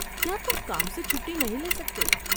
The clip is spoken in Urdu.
کیا تم کام سے چھٹی نہیں لے سکتے؟